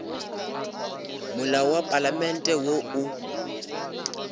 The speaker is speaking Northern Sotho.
molao wa palamente wo o